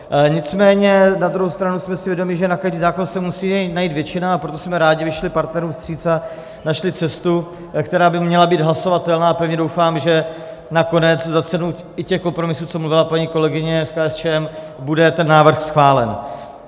Nicméně na druhou stranu jsme si vědomi, že na každý zákon se musí najít většina, a proto jsme rádi vyšli partnerům vstříc a našli cestu, která by měla být hlasovatelná, a pevně doufám, že nakonec za cenu i těch kompromisů, co mluvila paní kolegyně z KSČM, bude ten návrh schválen.